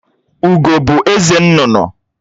Ugó bụ eze nnụnụ